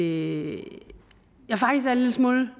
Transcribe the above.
en lille smule